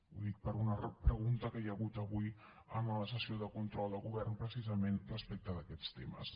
ho dic per una repregunta que hi ha hagut avui en la sessió de control del govern precisament respecte d’aquests temes